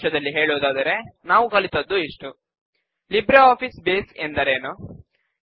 ಸಾರಾಂಶದಲ್ಲಿ ಹೇಳುವುದಾದರೆ ನಾವು ಕಲಿತದ್ದು ಇಷ್ಟು ಲಿಬ್ರೆ ಆಫೀಸ್ ಬೇಸ್ ಎಂದರೇನು